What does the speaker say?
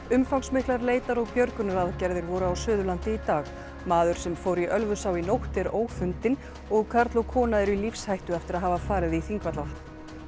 umfangsmiklar leitar og björgunaraðgerðir voru á Suðurlandi í dag maður sem fór í Ölfusá í nótt er ófundinn og karl og kona eru í lífshættu eftir að hafa farið í Þingvallavatn